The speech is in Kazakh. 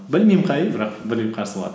білмеймін қай үй бірақ бір үй қарсы алады